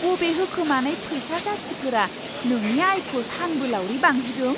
बबे होखोमानाय फैसा जाथिफोरा नोंनि आयखौ सानबोलावरि बांहोदों?